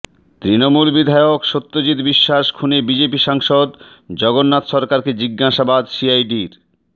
তৃণমূল বিধায়ক সত্যজিত্ বিশ্বাস খুনে বিজেপি সাংসদ জগন্নাথ সরকারকে জিজ্ঞাসাবাদ সিআইডির